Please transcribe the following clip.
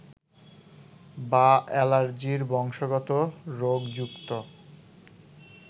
বা অ্যালার্জির বংশগত রোগ যুক্ত